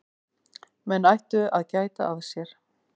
Menn ættu að gæta að sér.